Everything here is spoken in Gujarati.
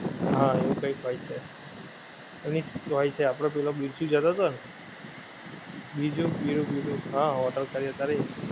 હા એવું કંઈક હોએ છે એમની હોએ છે આપડે પેહલો બિરજુ જતો થો ને બીજું વીરુ વીરુ હા hotel કરે ત્યારે